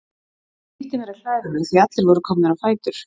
Ég flýtti mér að klæða mig því að allir voru komnir á fætur.